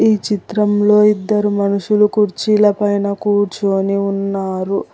ఈ చిత్రంలో ఇద్దరు మనుషులు కుర్చీల పైన కూర్చోని ఉన్నారు.